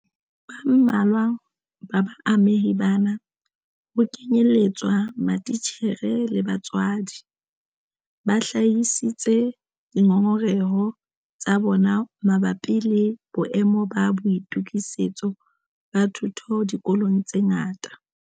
Ba mmalwa ba baamehi bana - ho kenyeletswa matitjhere le batswadi - ba hlahisitse dingongoreho tsa bona mabapi le boemo ba boitokisetso ba thuto dikolong tse ngata.